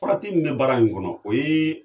Farati min bɛ baara in kɔnɔ , o ye